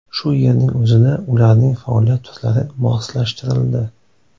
Shu yerning o‘zida ularning faoliyat turlari moslashtirildi.